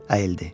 Əyildi.